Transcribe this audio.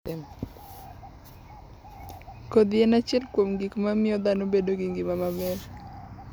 Kodhi en achiel kuom gik mamiyo dhano bedo gi ngima maber.